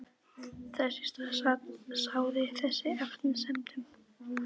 Þess í stað sáði þetta efasemdum.